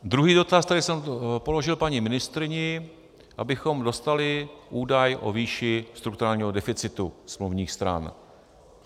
Druhý dotaz, který jsem položil paní ministryni, abychom dostali údaj o výši strukturálního deficitu smluvních stran.